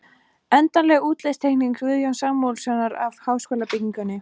Endanleg útlitsteikning Guðjóns Samúelssonar af háskólabyggingunni.